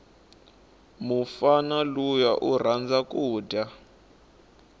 mufana luya urhandza kuja